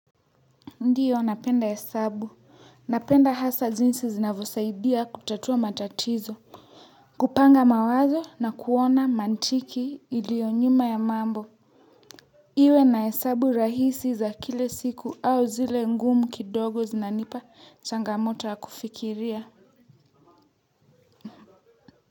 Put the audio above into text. Ndiyo napenda hesabu napenda hasa jinsi zinavyosaidia kutatua matatizo kupanga mawazo na kuona mantiki ilio nyuma ya mambo iwe na hesabu rahisi za kila siku au zile ngumu kidogo zinanipa changamoto ya kufikiria.